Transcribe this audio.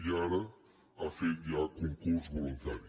i ara ha fet ja concurs voluntari